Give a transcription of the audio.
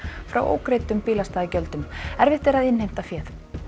frá ógreiddum bílastæðagjöldum erfitt er að innheimta féð